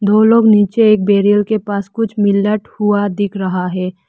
वह लोग नीचे एक बेरियल के पास कुछ हुआ दिख रहा है।